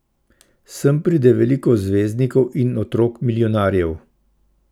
Sem pride veliko zvezdnikov in otrok milijonarjev.